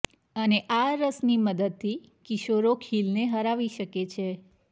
અને આ રસની મદદથી કિશોરો ખીલને હરાવી શકે છે